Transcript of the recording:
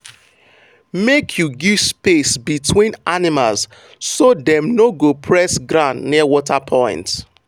make you give space between animals so dem no go press ground near water point.